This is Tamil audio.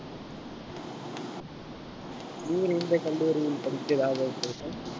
நீ எந்த கல்லூரியில் படிக்கிறதாக உத்தேசம்